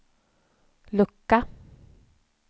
lucka